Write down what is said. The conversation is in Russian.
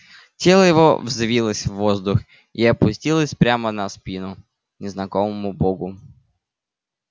тело его взвилось в воздух и опустилось прямо на спину незнакомому богу